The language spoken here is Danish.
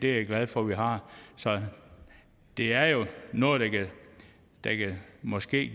jeg glad for vi har så det er jo noget der måske